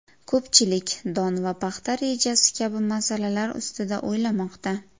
Ko‘pchilik don va paxta rejasi kabi masalalar ustida o‘ylamoqda.